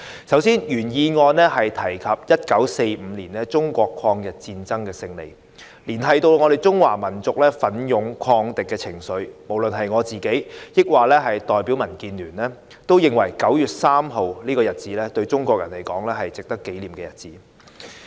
首先，原議案提及1945年中國抗日戰爭勝利，彰顯中華民族奮勇抗敵的精神，我和我所代表的民建聯都認為9月3日這日子對於中國人是一個值得紀念的日子。